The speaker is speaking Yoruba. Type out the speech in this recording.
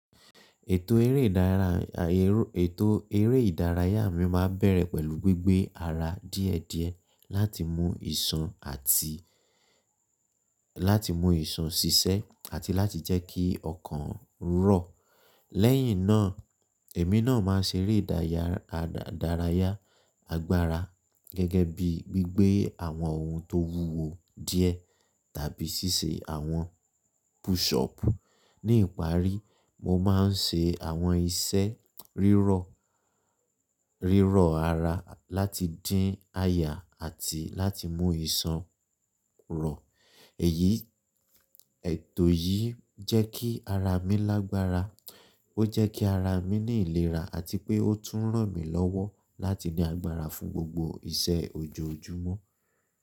Ètò eré ìdárayá mi máa bẹ̀rẹ̀ pẹ̀lú gbígbé ara díẹ̀díẹ̀ láti mú ìsan àti láti mú ìsan ṣiṣẹ́ àti láti jẹ́kí ọkàn rọ̀. Lẹ́yìn náà, èmi náà máa ṣeré ìdárayá agbára gẹ́gẹ́ bíi gbígbé àwọn ohun tó wúwo díẹ̀ tàbí ṣíṣe àwọn push up. Ni ìparí, mo máa ń ṣe àwọn iṣẹ́ riro rírọ̀ ara láti dín aya àti láti mú ìsan rọ̀. Èyí, ètò yìí jẹ́ kí ara mi lágbára. Ó jẹ́ kí ara mi ní ìlera àti pé ó tún ràn mí lọ́wọ́ láti ní agbára fún gbogbo iṣẹ́ ojoojúmọ́.